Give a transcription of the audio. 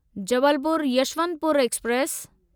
Jabalpur Yesvantpur express